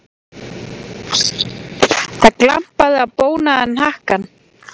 Það glampaði á bónaðan hnakkann.